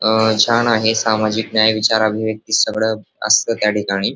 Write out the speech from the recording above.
अ छान आहे सामाजिक न्याय विचार अभिव्यक्ति सगळ असत त्याठिकाणी.